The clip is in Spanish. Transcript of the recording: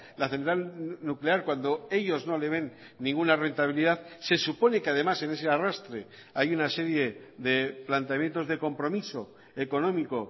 la central nuclear cuando ellos no le ven ninguna rentabilidad se supone que además en ese arrastre hay una serie de planteamientos de compromiso económico